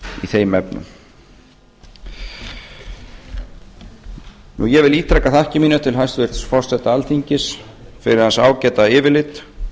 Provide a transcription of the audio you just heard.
þeim efnum ég vil ítreka þakkir mínar til hæstvirts forseta alþingis fyrir hans ágæta yfirlit